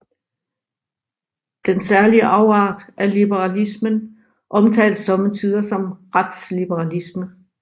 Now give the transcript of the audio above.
Den særlige afart af liberalismen omtales somme tider som retsliberalisme